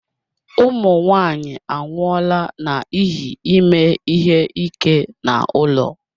Ụmụ nwanyị anwụọla n'ihi ime ihe ike n'ụlọ.